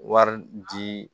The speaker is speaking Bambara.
Wari di